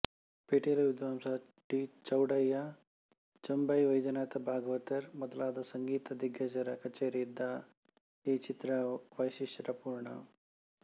ಪಿಟೀಲು ವಿದ್ವಾಂಸ ಟಿ ಚೌಡಯ್ಯ ಚೆಂಬೈ ವೈದ್ಯನಾಥ ಭಾಗವತರ್ ಮೊದಲಾದ ಸಂಗೀತ ದಿಗ್ಗಜರ ಕಛೇರಿ ಇದ್ದ ಈ ಚಿತ್ರ ವೈಶಿಷ್ಟ್ಯಪುರ್ಣ